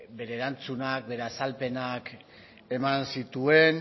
bere erantzunak bere azalpenak eman zituen